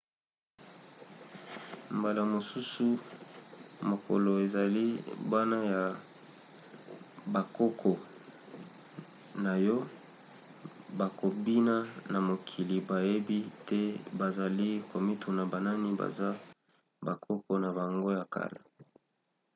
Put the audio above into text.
mbala mosusu mokolo ezali bana ya bakoko na yo bakobima na mokili bayebi te bazali komituna banani baza bakoko na bango ya kala?